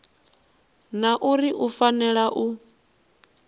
na uri u fanela u